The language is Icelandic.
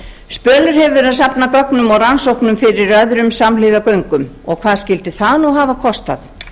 verið að safna gögnum og rannsóknum fyrir öðrum samhliða göngum og hvað skyldi það hafa kostað